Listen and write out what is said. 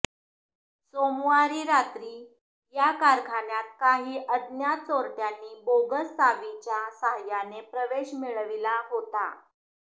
सोमवारी रात्री या कारखान्यात काही अज्ञात चोरटयांनी बोगस चावीच्या सहाय्याने प्रवेश मिळविला होता